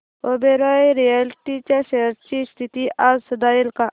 Oberoi realty च्या shares ची स्थिती आज सुधारेल का